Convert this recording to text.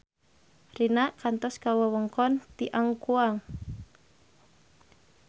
Rina kantos ka wewengkon Tianquan